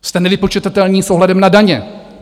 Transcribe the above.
Jste nevypočitatelní s ohledem na daně.